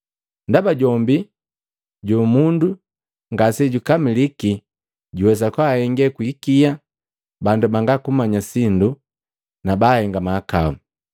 Ndaba jombi jo mundo ngase jukamiliki, juwesa kwaahenge kwi ikia, bandu bangakumanya sindu nabahenga mahakau.